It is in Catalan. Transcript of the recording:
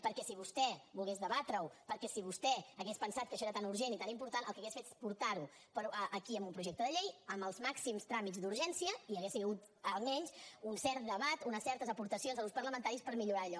perquè si vostè volgués debatre ho perquè si vostè hagués pensat que això era tan urgent i tan important el que hauria fet és portar ho aquí amb un projecte de llei amb els màxims tràmits d’urgència i hi hauria hagut almenys un cert debat unes certes aportacions dels grups parlamentaris per millorar allò